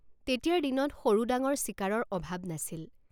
তেতিয়াৰ দিনত সৰুডাঙৰ চিকাৰৰ অভাৱ নাছিল।